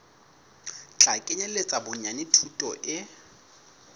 tla kenyeletsa bonyane thuto e